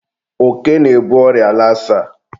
oke na-ebu ọrịa lasa.